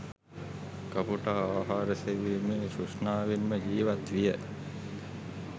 කපුටා ආහාර සෙවීමේ තෘෂ්ණාවෙන්ම ජීවත් විය.